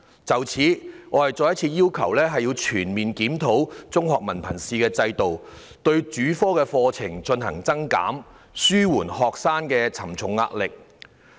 就此，我再次要求全面檢討中學文憑試制度，對主科課程進行增減，紓緩學生的沉重壓力。